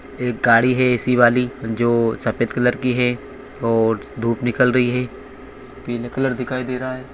एक गाडी है ए.सी. वाली जो सफेद कलर की है और धूप निकल रही है पीले कलर दिखाई दे रहा है।